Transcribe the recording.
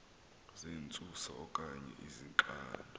zentsusa okanye izixando